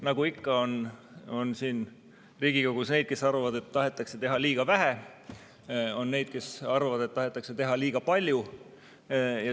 Nagu ikka, Riigikogus on neid, kes arvavad, et tahetakse teha liiga vähe, ja on neid, kes arvavad, et tahetakse teha liiga palju.